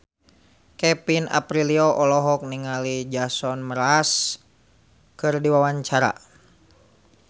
Kevin Aprilio olohok ningali Jason Mraz keur diwawancara